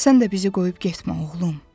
Sən də bizi qoyub getmə, oğlum.